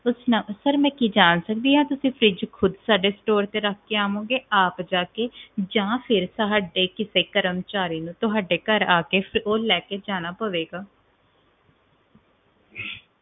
sir ਕਿ ਮੈਂ ਜਾਂ ਸਕਦੀ ਆ ਕਿ ਤੁਸੀਂ fridge ਖੁਦ ਰੱਖ ਕੇ ਜਾਉਗੇ ਸਾਡੇ store ਤੇ ਆਪ ਜਾਕੇ ਜਾ ਫੇਰ ਸਾਡੇ ਕਿਸੇ ਕਰਮਚਾਰੀ ਨੂੰ ਤੁਹਾਡੇ ਘਰ ਆਕੇ ਉਹ ਲੈ ਕੇ ਜਾਣਾ ਪਵੇਗਾ